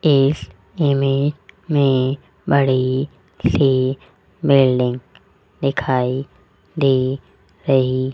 इस इमेज में बड़ी सी बिल्डिंग दिखाई दे रही --